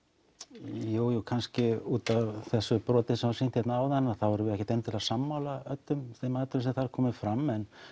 jú jú kannski útaf þessu broti sem var sýnt hér áðan þá erum við ekkert endilega sammála öllum þeim atriðum sem þar koma fram en